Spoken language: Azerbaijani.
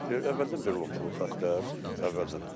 Əvvəldən belə olubdu bu xəttlər, əvvəldən.